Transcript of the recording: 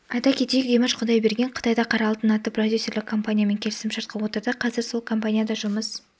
айта кетейік димаш құдайберген қытайда қара алтын атты продюсерлік компаниямен келісімшартқа отырды қазір сол компанияда жұмыс